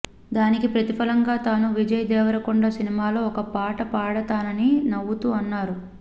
దానికి ప్రతిఫలంగా తాను విజయ్ దేవరకొండ సినిమాలో ఒక పాట పాడుతానని నవ్వుతూ అన్నారు